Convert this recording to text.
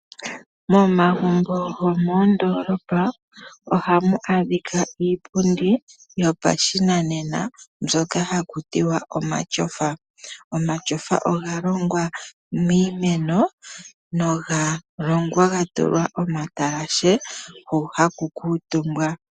Momagumbo gomoondoolopa ohamu adhika iipundi yopashinanena mbyoka haku tiwa omatyofa. Omatyofa oga longwa miimeno noga longwa ga tulwa okatalashe hu haku kuutumbwa.